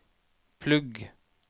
plugg